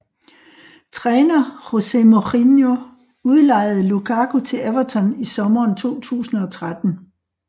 Træner José Mourinho udlejede Lukaku til Everton i sommeren 2013